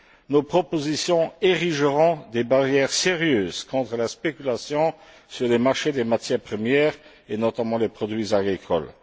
Nos propositions aideront à ériger des barrières sérieuses contre la spéculation sur les marchés des matières premières et notamment les produits agricoles.